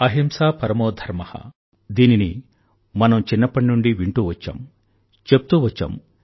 అహింసా పరమో ధర్మ దీనిని మనం చిన్నప్పటి నుండీ వింటూ వచ్చాం చెప్తూ వచ్చాం